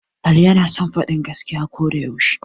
Ali yana son faɗan gaskiya ko da yaushe